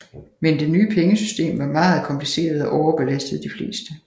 Men det nye pengesystem var meget kompliceret og overbelastede de fleste